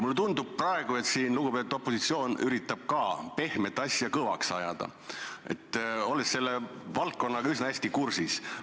Mulle tundub praegu, olles selle valdkonnaga üsna hästi kursis, et lugupeetud opositsioon üritab siin ka pehmet asja kõvaks ajada.